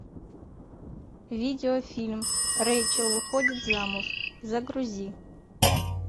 видео фильм рэйчел выходит замуж загрузи